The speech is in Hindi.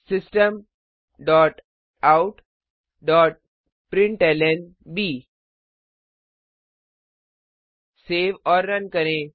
system dot out dot println save और रन करें